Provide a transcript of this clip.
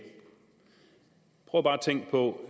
prøv bare tænke på